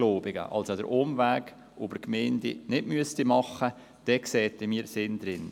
Dann sähen wir einen Sinn darin, ähnlich wie es der Vorredner gesagt hat.